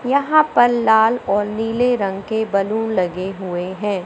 यहां पर लाल और नीले रंग के बैलून लगे हुए हैं।